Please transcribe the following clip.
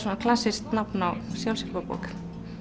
klassískt nafn á sjálfshjálparbók